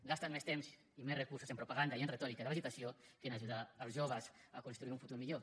gasten més temps i més recursos en propaganda i en retòrica de l’agitació que a ajudar els joves a construir un futur millor